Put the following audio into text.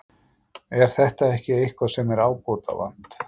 Er þetta ekki eitthvað sem er ábótavant?